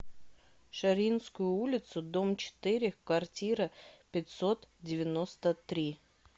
шарьинскую улицу дом четыре в квартира пятьсот девяносто три